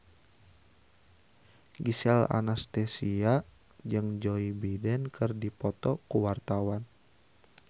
Gisel Anastasia jeung Joe Biden keur dipoto ku wartawan